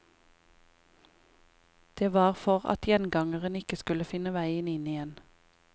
Det var for at gjengangeren ikke skulle finne veien inn igjen.